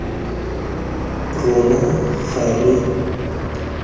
rona ga re metlapa ke